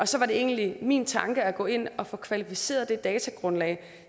så var det egentlig min tanke at gå ind og få kvalificeret det datagrundlag